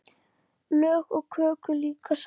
Lög í köku líka sá.